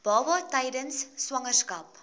baba tydens swangerskap